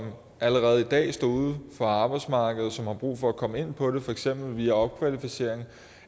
allerede i dag uden for arbejdsmarkedet og har brug for at komme ind på det for eksempel via opkvalificering